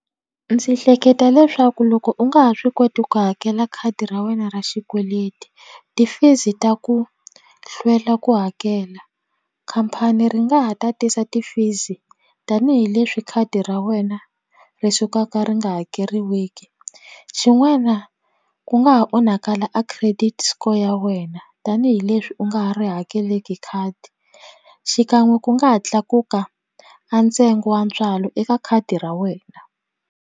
Ndzi hleketa leswaku loko u nga ha swi koti ku hakela khadi ra wena ra xikweleti ti-fees ta ku hlwela ku hakela khampani ri nga ha tatisa ti-fees tanihileswi khadi ra wena ri sukaka ri nga hakeriweki xin'wana ku nga ha onhakala a credit score ya wena tanihileswi u nga ha ri hakeleki khadi xikan'we ku nga ha tlakuka a ntsengo wa ntswalo eka khadi ra wena.